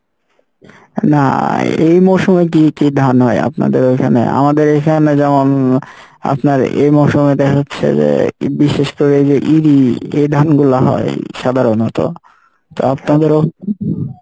না এই মৌসমের দিকে কী ধান হয় আপনাদের ওইখানে? আমাদের এইখানে যেমন আপনার এ মৌসমে যেটা হচ্ছে যে ই বিশেষ করে এইযে ইরি এ ধান গুলা হয় সাধারণত তো আপনাদেরও,